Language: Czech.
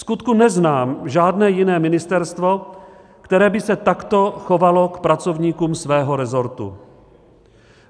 Vskutku neznám žádné jiné ministerstvo, které by se takto chovalo k pracovníkům svého resortu.